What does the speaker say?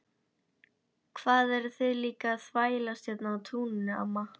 Hvað eruð þið líka að þvælast hérna á túninu amma?